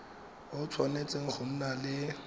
o tshwanetse go nna le